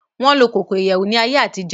Won lo koko iyewu ni aye atijo.